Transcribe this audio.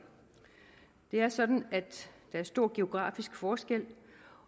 det er sådan at der er stor geografisk forskel